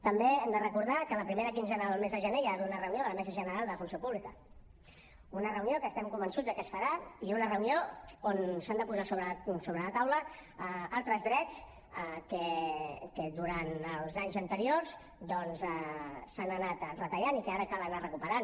també hem de recordar que la primera quinzena del mes de gener hi ha d’haver una reunió de la mesa general de la funció pública una reunió que estem convençuts que es farà i una reunió on s’han de posar sobre la taula altres drets que durant els anys anteriors s’han anat retallant i que ara cal anar recuperant